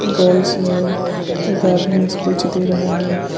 Girls है एक आदमी स्पीच दे रहा है।